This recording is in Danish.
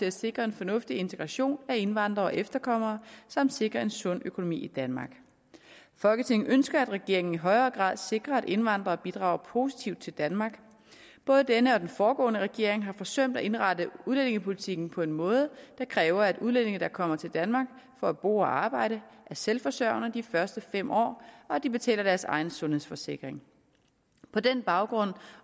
at sikre en fornuftig integration af indvandrere og efterkommere samt sikre en sund økonomi i danmark folketinget ønsker at regeringen i højere grad sikrer at indvandrere bidrager positivt til danmark både denne og den foregående regering har forsømt at indrette udlændingepolitikken på en måde der kræver at udlændinge der kommer til danmark for at bo og arbejde er selvforsørgende de første fem år og at de betaler deres egen sundhedsforsikring på den baggrund